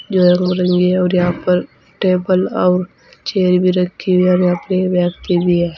है और यहां पर टेबल और चेयर भी रखी है और यहां पे व्यक्ति भी है।